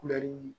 Kulɛri